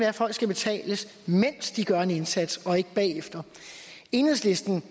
at folk skal betales mens de gør en indsats og ikke bagefter enhedslisten